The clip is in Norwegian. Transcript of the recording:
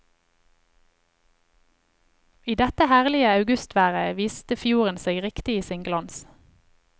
I dette herlige augustværet viste fjorden seg riktig i sin glans.